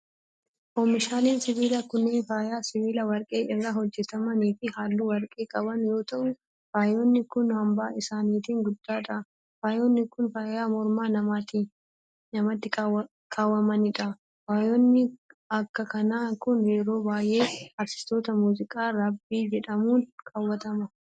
Oomishaaleen sibiilaa kunneen, faaya sibiila warqee irraa hojjataman fi haalluu warqee qaban yoo ta'u, faayonni kun hamma isaaniitin guddaa dha. Faayonni kun, faaya morma namaatti kaawwamanii dha. Faayonni akka kanaa kun, yeroo baay'ee aartistoota muuziqaa raappii jedhamuun kaawwatama.